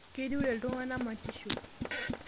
Keiturrie ltung'ana matisho